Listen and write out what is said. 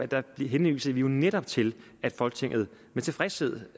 der henviser vi jo netop til at folketinget med tilfredshed